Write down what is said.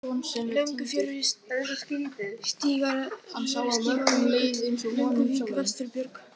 Löngufjörur, Stigárjökull, Lönguvík, Vesturbjörg